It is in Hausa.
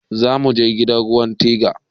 Zamuje ganin ruwan tiga